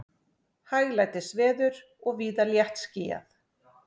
Hæglætisveður og víða léttskýjað